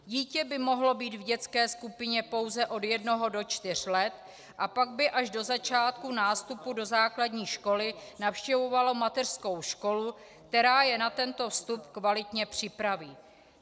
Dítě by mohlo být v dětské skupině pouze od jednoho do čtyř let a pak by až do začátku nástupu do základní školy navštěvovalo mateřskou školu, která je na tento vstup kvalitně připraví.